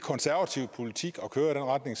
den